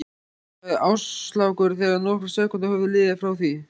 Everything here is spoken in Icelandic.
sagði Áslákur þegar nokkrar sekúndur höfðu liðið frá því